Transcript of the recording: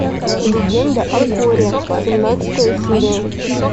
легенда о корре семнадцатая серия